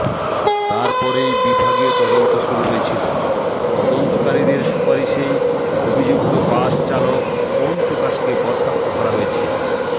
তারপরেই বিভাগীয় তদন্ত শুরু হয়েছিল তদন্তকারীদের সুপারিশেই অভিযুক্ত বাস চালক ওম প্রকাশকে বরখাস্ত করা হয়েছে